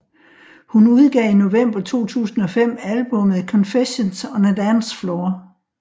Hun udgav i november 2005 albummet Confessions on a Dance Floor